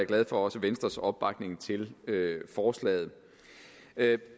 glad for venstres opbakning til forslaget